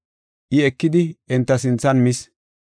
I ekidi enta sinthan mis.